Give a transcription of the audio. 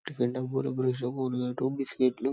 tiffin డబ్బాలు బ్రష్లు కోల్గేట్లు బిస్కెట్స్లు --